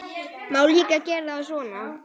Má líka gera það svona